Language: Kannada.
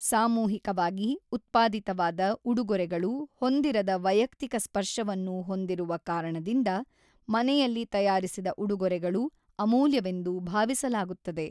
ಸಾಮೂಹಿಕವಾಗಿ-ಉತ್ಪಾದಿತವಾದ ಉಡುಗೊರೆಗಳು ಹೊಂದಿರದ ವೈಯಕ್ತಿಕ ಸ್ಪರ್ಶವನ್ನು ಹೊಂದಿರುವ ಕಾರಣದಿಂದ ಮನೆಯಲ್ಲಿ ತಯಾರಿಸಿದ ಉಡುಗೊರೆಗಳು ಅಮೂಲ್ಯವೆಂದು ಭಾವಿಸಲಾಗುತ್ತದೆ.